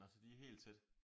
Nå så de er helt tætte?